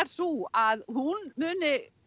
sú að hún muni